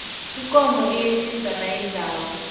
ikomo iyetjisa nayidlako